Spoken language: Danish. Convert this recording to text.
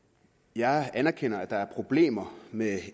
jeg anerkender at der er problemer med